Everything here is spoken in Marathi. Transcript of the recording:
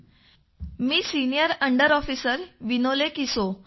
माझं नाव सिनिअर अंडर ऑफिसर विनोले किसो